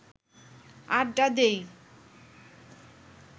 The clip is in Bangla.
আড্ডা দিই